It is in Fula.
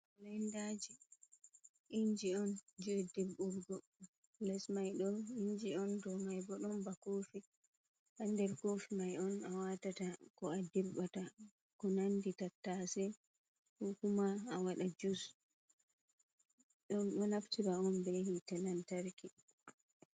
Blenndaji inji on je dirbburgo. Les mai do inji on do mai bo ɗon ba kofi ba der kofi mai on a watata ko a dirbata ko nandi tattase, kokuma a wada jus dum do naftira on be hite lamtarki